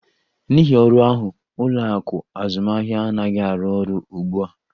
N'ihi ọrụ ahụ, ụlọ akụ azụmahịa anaghị arụ ọrụ ugbu a